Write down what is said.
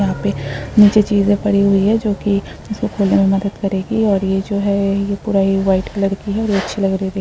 यहाँं पे निचे चीज़े परी हुई हैं जोकि इसको खोलने में मदद करेगी और यह जो है यह पूरा ही वाइट कलर की है अच्छी लग रही है दे --